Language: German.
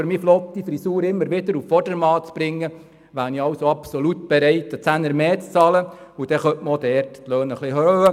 Um meine flotte Frisur immer wieder auf Vordermann zu bringen, wäre ich also absolut bereit, einen Zehner mehr zu bezahlen, und dann könnte man auch dort die Löhne etwas erhöhen.